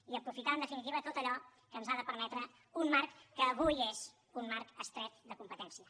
i aprofitar en definitiva tot allò que ens ha de permetre un marc que avui és un marc estret de competència